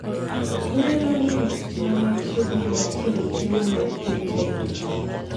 inyalo ng’iyo tich ma machiegni mar tero chiemo mag piny China kae